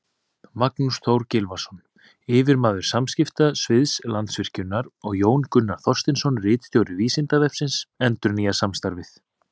Magnús Þór Gylfason, yfirmaður samskiptasviðs Landsvirkjunar, og Jón Gunnar Þorsteinsson, ritstjóri Vísindavefsins, endurnýja samstarfið.